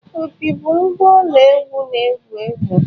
Opi bụ ngwa ọla egwú na-ewu ewu.